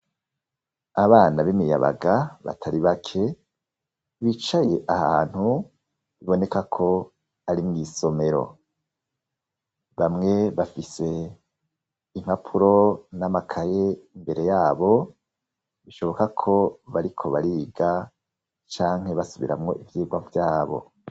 Abana b'imiyabaga batari bake bicaye ahantu biboneka ko ari mu isomero bamwe bafise impapuro n'amakaye mbere yabo bishoboka ko bariko bariga canke basubiramo ivyirwa vyabo.